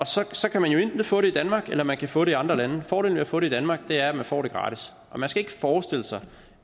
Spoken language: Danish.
sig så kan man jo enten få det i danmark eller man kan få det i andre lande fordelen ved at få det i danmark er at man får det gratis og man skal ikke forestille sig